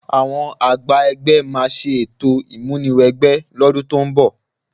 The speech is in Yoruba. Àwọn àgbà ẹgbẹ́ máa ṣe ètò ìmúni wẹgbẹ́ lọ́dún tó ń bọ̀